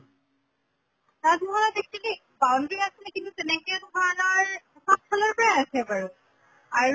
তাজ মহল ত actually boundary আছিলে কিন্তু তেনেকে ধৰণৰ চব ফালৰ পৰাই আছে বাৰু, আৰু